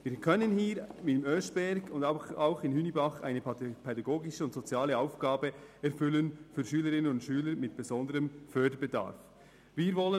Wir können in Oeschberg und in Hünibach eine pädagogische und soziale Aufgabe für Schülerinnen und Schüler mit besonderem Förderbedarf erfüllen.